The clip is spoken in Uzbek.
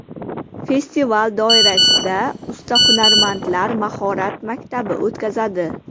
Festival doirasida usta hunarmandlar mahorat maktabi o‘tkazadi.